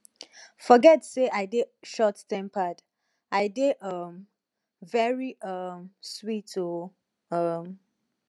forget say i dey short tempered i dey um very um sweet oo um